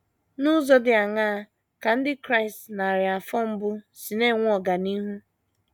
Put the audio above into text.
N’ụzọ dị aṅaa ka ndị Kraịst narị afọ mbụ si na - enwe ọganihu?